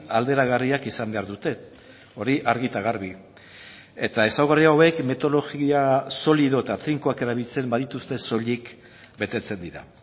alderagarriak izan behar dute hori argi eta garbi eta ezaugarri hauek metodologia solido eta finkoak erabiltzen badituzte soilik betetzen dira